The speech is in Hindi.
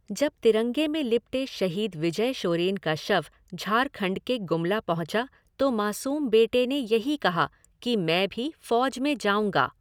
जब तिरंगे में लिपटे शहीद विजय शोरेन का शव झारखण्ड के गुमला पहुँचा तो मासूम बेटे ने यही कहा कि मैं भी फौज़ में जाऊँगा।